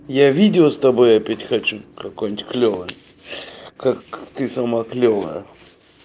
я видео с тобой опять хочу какую-нибудь клёвую как ты самая клёвая